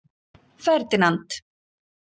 Ferdinand